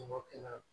Mɔgɔ kɛnɛ kan